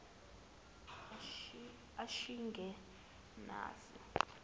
ashikenazi